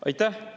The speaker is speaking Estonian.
Aitäh!